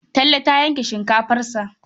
Talle ta yanke shinkafarsa.